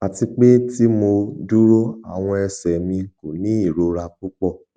ati pe ti mo duro awọn ẹsẹ mi ko ni irora pupọ